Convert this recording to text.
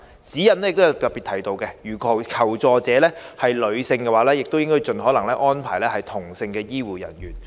《指引》亦特別提到，如求助者是女性的話，應盡可能安排同性的醫護人員。